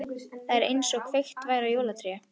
Það var einsog kveikt væri á jólatré.